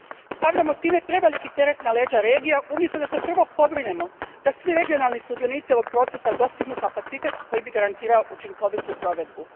Stavljamo time preveliki teret na leđa regija, umjesto da se prvo pobrinemo da svi regionalni sudionici ovog procesa dostignu kapacitet koji bi garantirao učinkovitu provedbu.